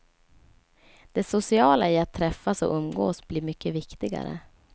Det sociala i att träffas och umgås blir mycket viktigare.